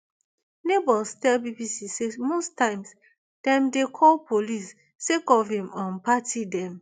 neighbours tell bbc say most times dem dey call police sake of im um party dem